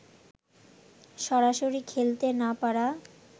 সরাসরি খেলতে না পারা